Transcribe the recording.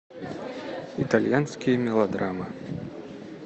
итальянские мелодрамы